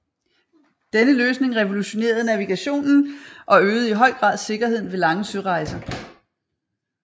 Denne løsning revolutionerede navigationen og øgede i høj grad sikkerheden ved lange sørejser